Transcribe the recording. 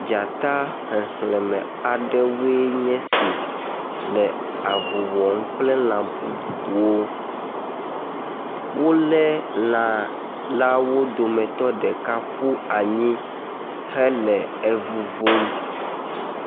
Dzata xexlẽme aɖewoe nye esi le avu wɔm kple lã bubuwo. Wolé lã lãwo dometɔ ɖeka ƒu anyi hele evuvum.